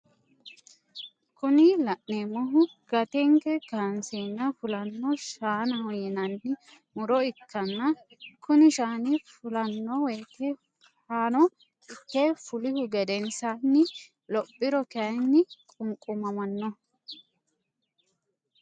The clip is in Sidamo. Kuni la'neemohu gatenke kaanseenna fulanno shaanaho yinanni muro ikkana kuni shaani fulanno woyiite fano ikke fulihu gedensaani lophiro kayiinni qunqumamanno.